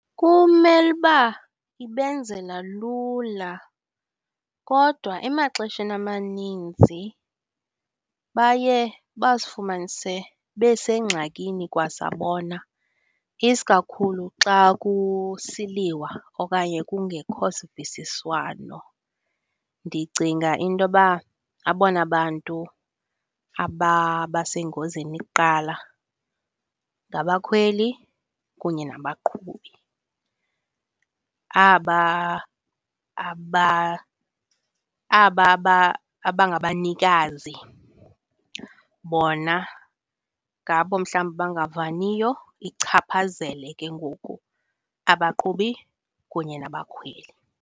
Kumele uba ibenzela lula kodwa emaxesheni amaninzi baye bazifumanise besengxakini kwasa bona, isikakhulu xa kusiliwa okanye kungekho sivisiswano. Ndicinga ukuba abona bantu ababasengozini kuqala ngabakhweli kunye nabaqhubi. Aba aba aba aba abangabanikazi bona ngabo mhlawumbi abangavaniyo ichaphazele ke ngoku abaqhubi kunye nabakhweli.